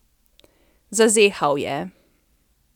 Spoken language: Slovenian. Zazehal je.